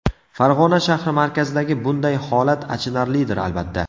Farg‘ona shahri markazidagi bunday holat achinarlidir albatta.